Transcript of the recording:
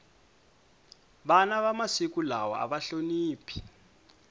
vana va masiku lawa ava hloniphi